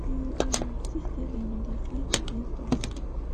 you um see say dem bin dey fight against us